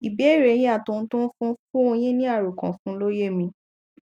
ìbéèrè e yín àti ohun tó ń fún fún un yín ní àròkànfún ló yé mi